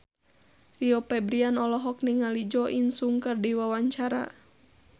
Rio Febrian olohok ningali Jo In Sung keur diwawancara